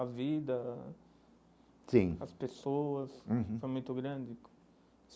a vida, sim as pessoas uhum, foi muito grande.